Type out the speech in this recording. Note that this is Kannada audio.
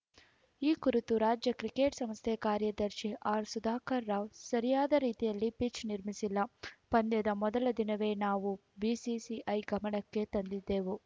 ಈ ಕುರಿತು ರಾಜ್ಯ ಕ್ರಿಕೆಟ್‌ ಸಂಸ್ಥೆ ಕಾರ್ಯದರ್ಶಿ ಆರ್‌ಸುಧಾಕರ್‌ ರಾವ್‌ ಸರಿಯಾದ ರೀತಿಯಲ್ಲಿ ಪಿಚ್‌ ನಿರ್ಮಿಸಿಲ್ಲ ಪಂದ್ಯದ ಮೊದಲ ದಿನವೇ ನಾವು ಬಿಸಿಸಿಐ ಗಮನಕ್ಕೆ ತಂದಿದ್ದೆವು